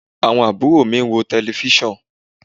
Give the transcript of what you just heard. Àwọn àbúrò mi ń wo tẹlẹfísàn